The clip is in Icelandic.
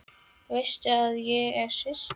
Veistu að ég er systir þín.